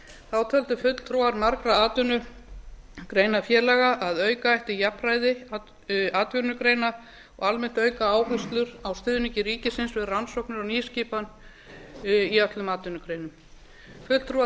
þá töldu fulltrúar margra atvinnugreinafélaga að auka ætti jafnræði atvinnugreina og almennt auka áherslur á stuðningi ríkisins við rannsóknir og nýskipan í öllum atvinnugreinum fulltrúar